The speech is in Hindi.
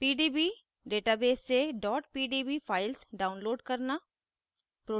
* pdb database से pdb files download करना